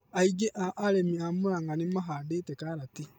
Aingĩ a arĩmĩ a Murang'a nĩmahandĩte karatĩ